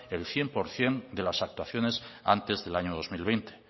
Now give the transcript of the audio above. el cien por ciento de las actuaciones antes del año dos mil veinte